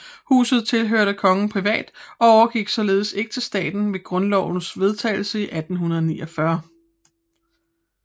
Huset tilhørte kongen privat og overgik således ikke til staten ved grundlovens vedtagelse 1849